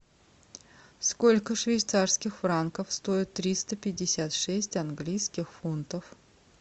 сколько швейцарских франков стоит триста пятьдесят шесть английских фунтов